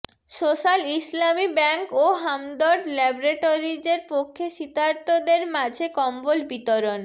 social Islami bank ও হামদর্দ ল্যাবরেটরীজের পক্ষে শীতার্তদের মাঝে কম্বল বিতরণ